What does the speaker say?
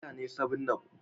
Wane kala ne 7up?